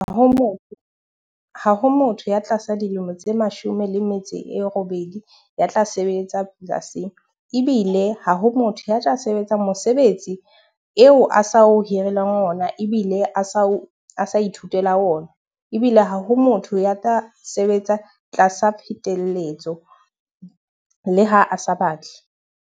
Ha ho motho ya tlasa dilemo tse mashome le metso e robedi ya tla sebetsa polasing. Ebile ha ho motho ya tla sebetsang mosebetsi eo a sa o hirileng ona, ebile a sa o sa ithutela ona. Ebile ha ho motho ya tla sebetsa tlasa pheteletso le ha a sa batle.